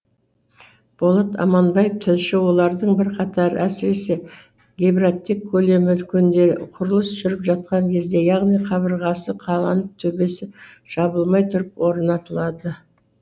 болат аманбаев тілші олардың бірқатары әсіресе габариттік көлемі үлкендері құрылыс жүріп жатқан кезде яғни қабырғасы қаланып төбесі жабылмай тұрып орнатылады